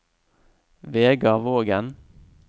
Vegar Vågen